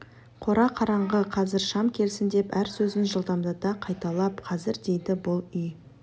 қора қараңғы қазір шам келсін деп әр сөзін жылдамдата қайталап қазір дейді бұл үй